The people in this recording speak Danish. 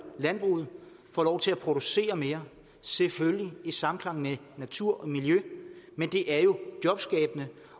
landbruget får lov til at producere mere selvfølgelig i samklang med natur og miljø men det er jo jobskabende